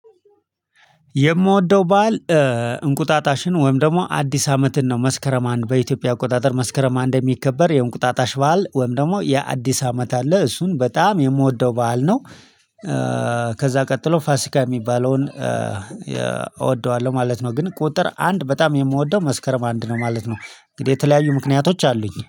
የምወደው በዓል እንቁጣጣሽን ወይም ደግሞ አዲስ አመትን ነው መስከረም አንድ በኢትዮጵያ አቆጣጠር መስከረም አንድ የሚከበር የእንቁጣጣሽ በዓል ወይም ደግሞ የአዲስ አመት አለ እሱን በጣም የምወደው በዓል ነው። ከዛ ቀጥሎ ፋሲካ የሚባለውን እወደዋለሁ ማለት ነው። ግን ቁጥር አንድ በጣም የምወደው መስከረም አንድ ነው ማለት ነው። እንግዲህ የተለያዩ ምክንያቶች አሉኝ